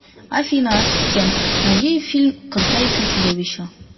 афина ассистент найди фильм красавица и чудовище